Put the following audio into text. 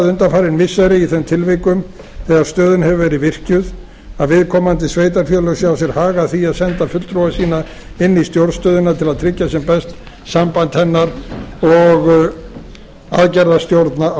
undanfarin missiri í þeim tilvikum þegar stöðin hefur verið virkjuð að viðkomandi sveitarfélög sjá sér hag að því að senda fulltrúa sína inn í stjórnstöðina til að tryggja sem best samband hennar og aðgerðastjórna á